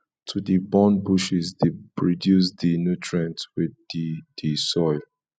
to de burn bushes de reduce di nutrients wey de di soil